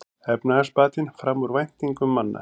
Efnahagsbatinn fram úr væntingum manna